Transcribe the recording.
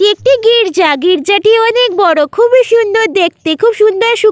এটি একটি গির্জা গির্জা -টি অনেক বড় খুবই সুন্দর দেখতে খুব সুন্দর সূক্ষ্ম--